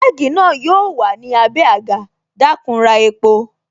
Kẹ́gì na yo wà ní abé agà, dakun ra epo